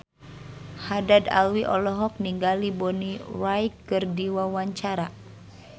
Haddad Alwi olohok ningali Bonnie Wright keur diwawancara